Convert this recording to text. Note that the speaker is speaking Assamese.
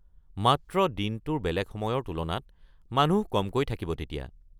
মাত্ৰ দিনটোৰ বেলেগ সময়ৰ তুলনাত মানুহ কমকৈ থাকিব তেতিয়া।